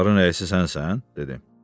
Qatarın rəisi sənsən?